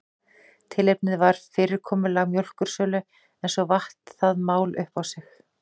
Tilefnið var fyrirkomulag mjólkursölu en svo vatt það mál upp á sig.